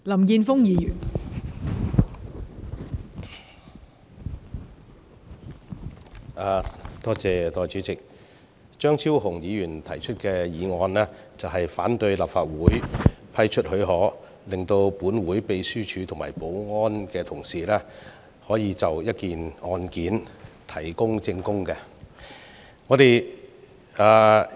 代理主席，張超雄議員提出"拒絕給予許可"的議案，反對讓立法會秘書處和保安同事就一宗案件提供證據。